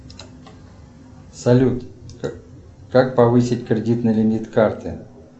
салют как повысить кредитный лимит карты